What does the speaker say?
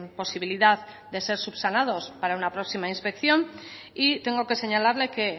posibilidad de ser subsanados para una próxima inspección y tengo que señalarle que